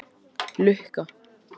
Lukka